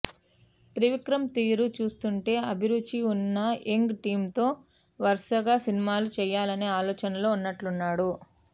త్రివిక్రమ్ తీరు చూస్తుంటే అభిరుచి ఉన్న యంగ్ టీంతో వరుసగా సినిమాలు చేయాలనే ఆలోచనలో ఉన్నట్లున్నాడు